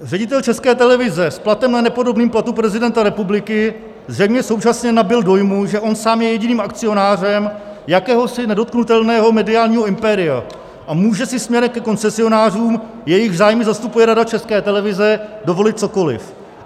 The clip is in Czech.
Ředitel České televize s platem ne nepodobným platu prezidenta republiky zjevně současně nabyl dojmu, že on sám je jediným akcionářem jakéhosi nedotknutelného mediálního impéria a může si směrem ke koncesionářům, jejichž zájmy zastupuje Rada České televize, dovolit cokoliv.